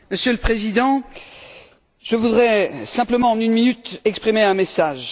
Monsieur le Président, je voudrais simplement, en une minute, exprimer un message.